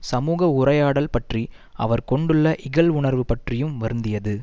சமூக உரையாடல் பற்றி அவர் கொண்டுள்ள இகழ்வுணர்வு பற்றியும் வருந்தியது